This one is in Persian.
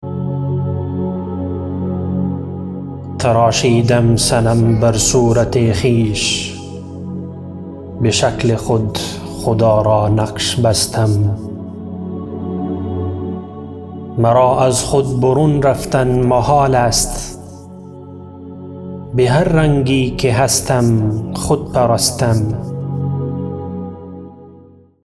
تراشیدم صنم بر صورت خویش به شکل خود خدا را نقش بستم مرا از خود برون رفتن محال است بهر رنگی که هستم خود پرستم